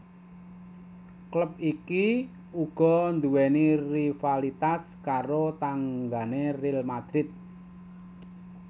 Klub iki uga nduwèni rivalitas karo tanggané Real Madrid